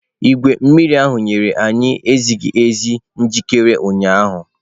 Igwe mmiri ahụ nyere anyị ezighi ezi njikere ụnyaahụ.